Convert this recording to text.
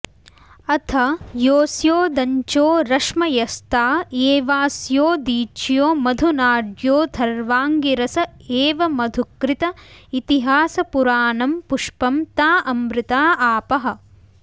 अथ येऽस्योदञ्चो रश्मयस्ता एवास्योदीच्यो मधुनाड्योऽथर्वाङ्गिरस एव मधुकृत इतिहासपुराणं पुष्पं ता अमृता आपः